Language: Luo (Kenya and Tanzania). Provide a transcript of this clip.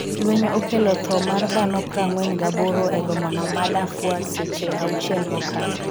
lweny okelo tho mar dhano 48 e bomano ma Darfur seche auchiel mokalo